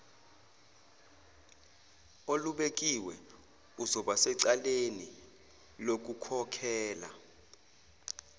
olubekiwe uzobasecaleni lokukhokhela